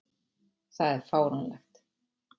Það er fáránlegt.